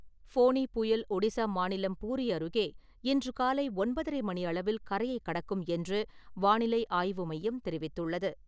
ஃபோனி புயல் ஒடிஸா மாநிலம் பூரி அருகே இன்று காலை ஒன்பதரை மணியளவில் கரையை கடக்கும் என்று வானிலை ஆய்வு மையம் தெரிவித்துள்ளது.